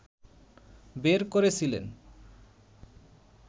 বের করেছিলেন